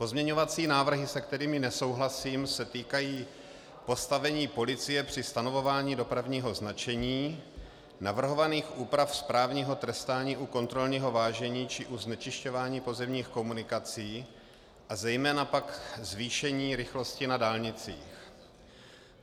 Pozměňovací návrhy, se kterými nesouhlasím, se týkají postavení policie při stanovování dopravního značení, navrhovaných úprav správního trestání u kontrolního vážení či u znečišťování pozemních komunikací, a zejména pak zvýšení rychlosti na dálnicích.